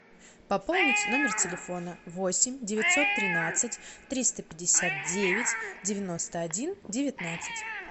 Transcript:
пополнить номер телефона восемь девятьсот тринадцать триста пятьдесят девять девяносто один девятнадцать